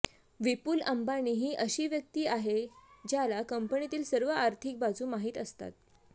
विपुल अंबानी ही अशी व्यक्ती आहे ज्याला कंपनीतील सर्व आर्थिक बाजू माहित असतात